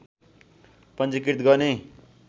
पञ्जीकृत गर्ने